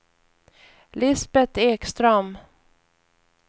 Lisbeth Ekström